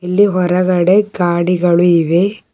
ಆ ಕಾರ್ಯಕ್ರಮದಲ್ಲಿ ಮೂವರು ಶಿಕ್ಷಕಿಯರು ನಿಂತಿದ್ದಾರೆ.